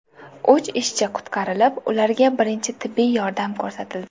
Uch ishchi qutqarilib, ularga birinchi tibbiy yordam ko‘rsatildi.